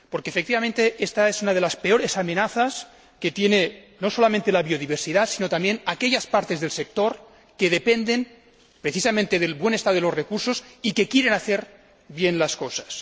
Porque, efectivamente, éta es una de las peores amenazas que tienen no solamente la biodiversidad sino también aquellas partes del sector que dependen precisamente del buen estado de los recursos y que quieren hacer bien las cosas.